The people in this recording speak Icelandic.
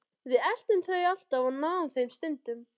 Við eltum þau alltaf og náðum þeim stundum.